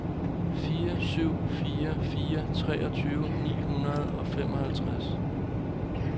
fire syv fire fire treogtyve ni hundrede og femoghalvtreds